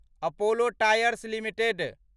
Apollo Tyres limited